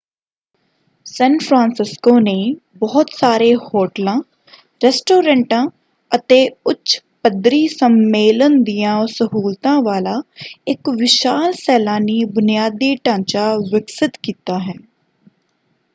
ਸੈਨ Francisco ਨੇ ਬਹੁਤ ਸਾਰੇ ਹੋਟਲਾਂ ਰੈਸਟੋਰੈਂਟਾਂ ਅਤੇ ਉੱਚ ਪੱਧਰੀ ਸੰਮੇਲਨ ਦੀਆਂ ਸਹੂਲਤਾਂ ਵਾਲਾ ਇਕ ਵਿਸ਼ਾਲ ਸੈਲਾਨੀ ਬੁਨਿਆਦੀ ਢਾਂਚਾ ਵਿਕਸਿਤ ਕੀਤਾ ਹੈ।